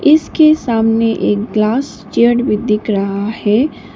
इसके सामने एक ग्लास चेयर भी दिख रहा है।